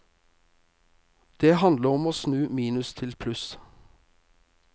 Det handler om å snu minus til pluss.